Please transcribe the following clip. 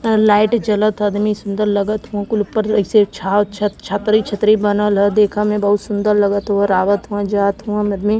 Light जलत ह आदमी सुंदर लगत ह कुल उपर एइसे छा छत छतरी छतरी बनल ह देखा में बहुत सुंदर लगत हव आवत हवं जात हवं आदमी।